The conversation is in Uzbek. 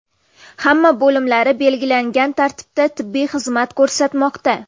Hamma bo‘limlari belgilangan tartibda tibbiy xizmat ko‘rsatmoqda.